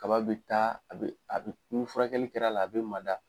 Kaba be taa, a be a be n furakɛli kɛr'a la, a be mada